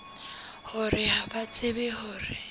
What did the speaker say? hore ha ba tsebe hore